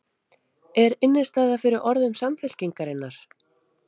Er innistæða fyrir orðum Samfylkingarinnar?